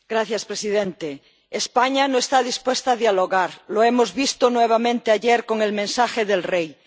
Señor presidente, España no está dispuesta a dialogar, lo hemos visto nuevamente ayer con el mensaje del Rey.